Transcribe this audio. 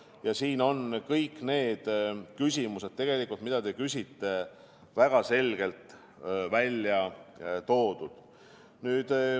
Ja siin on kõik need küsimused, mida te küsite, tegelikult väga selgelt välja toodud.